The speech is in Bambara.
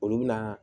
Olu bɛna